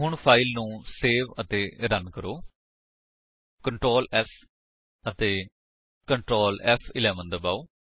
ਹੁਣ ਫਾਇਲ ਨੂੰ ਸੇਵ ਅਤੇ ਰਨ ਕਰੋ Ctrl s ਅਤੇ Ctrl ਫ਼11 ਦਬਾਓ